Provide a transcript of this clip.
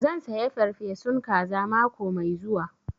Zan saya farfesun kaza mako mai zuwa